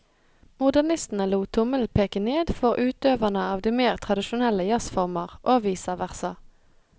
Modernistene lot tommelen peke ned for utøverne av de mer tradisjonelle jazzformer, og vice versa.